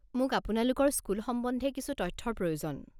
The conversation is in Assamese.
মোক আপোনালোকৰ স্কুল সম্বন্ধে কিছু তথ্যৰ প্ৰয়োজন।